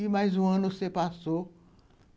E mais um ano você passou.